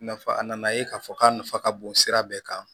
Nafa a nana ye k'a fɔ k'a nafa ka bon sira bɛɛ kan